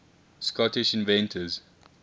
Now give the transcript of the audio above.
scottish inventors